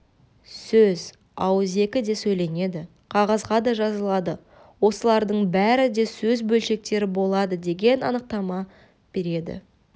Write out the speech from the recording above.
сөз ауызекі де сөйленеді қағазға да жазылады осылардың бәрі де сөз бөлшектері болады деген анықтама береді